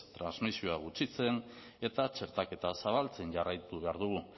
transmisioa gutxitzen eta txertaketa zabaltzen jarraitu behar dugu